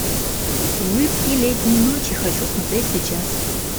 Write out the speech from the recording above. улыбки летней ночи хочу смотреть сейчас